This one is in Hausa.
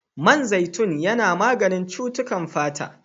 Man zaitun yana maganin cutukan fata.